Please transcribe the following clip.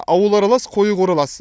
аулы аралас қойы қоралас